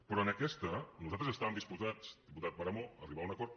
però en aquesta nosaltres estàvem disposats diputat de páramo a arribar a un acord